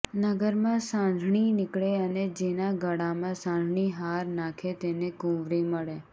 નગરમાં સાંઢણી નીકળે અને જેના ગળામાં સાંઢણી હાર નાખે તેને કુંવરી મળે